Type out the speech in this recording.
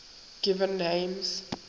given names